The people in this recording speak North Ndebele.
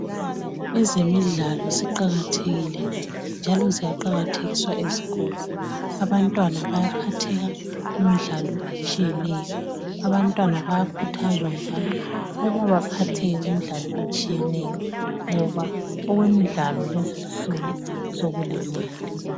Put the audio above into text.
Ezemidlalo ziqakathekile njalo ziyaqakathekiswa ezikolo abantwana bayaphatheka kumdlalo etshiyeneyo abantwana bayakhuthazwa njalo ukuba baphatheke kumdlalo etshiyeneyo ngoba okwemidlalo lezinsuku sokulemali.